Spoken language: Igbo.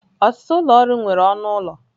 Ọtụtụ ụlọ ọrụ nwere ọnụ ụlọ.